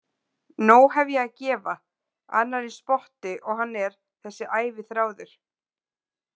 Nóg hef ég að gefa, annar eins spotti og hann er, þessi æviþráður.